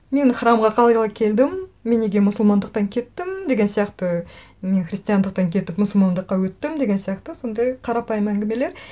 мен храмға қалай келдім мен неге мұсылмандықтан кеттім деген сияқты мен христиандықтан кетіп мұсылмандыққа өттім деген сияқты сондай қарапайым әңгімелер